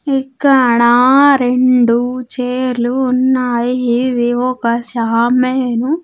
ఇక్కడ రెండు చైర్లు ఉన్నాయి ఇది ఒక షామీను.